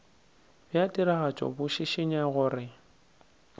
bja tiragatšo bo šišinya gore